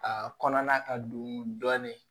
Aa kɔnɔna ka don dɔɔnin